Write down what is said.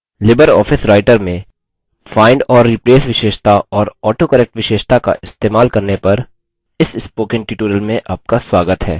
Libre office writer में find और replace विशेषता और autocorrect विशेषता का इस्तेमाल करने पर इस spoken tutorial में आपका स्वागत है